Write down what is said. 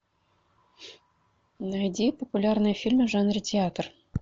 найди популярные фильмы в жанре театр